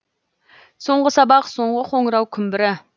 соңғы сабақ соңғы қоңырау күмбірі